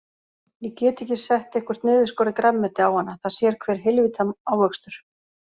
Ég get ekki sett eitthvert niðurskorið grænmeti á hana, það sér hver heilvita ávöxtur.